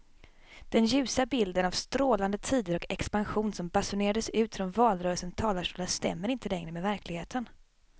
Den ljusa bilden av strålande tider och expansion som basunerades ut från valrörelsens talarstolar stämmer inte längre med verkligheten.